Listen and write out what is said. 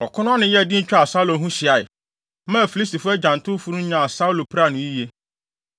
Ɔko no ano yɛɛ den twaa Saulo ho hyiae, maa Filistifo agyantowfo no nyaa Saulo piraa no yiye.